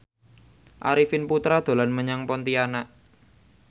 Arifin Putra dolan menyang Pontianak